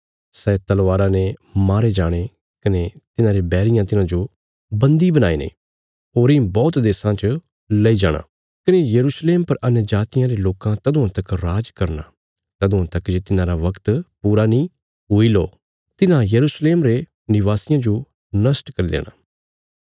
सै तलवारा ने मारे जाणे कने तिन्हारे बैरियां तिन्हांजो बन्दी बणाईने होरीं बौहत देशां च लेई जाणा कने यरूशलेम पर अन्यजातियां रे लोकां तदुआं तक राज करना तदुआं तक जे तिन्हारा बगत पूरा नीं हुई लो तिन्हां यरूशलेम रे निवासियां जो नष्ट करी देणा